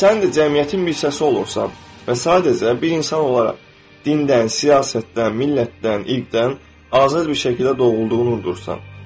Sən də cəmiyyətin bir hissəsi olursan və sadəcə bir insan olaraq dindən, siyasətdən, millətdən, irqdən azad bir şəkildə doğulduğunu unudursan.